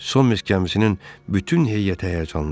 Son Minsk gəmisinin bütün heyəti həyəcanlandı.